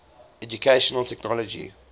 educational technology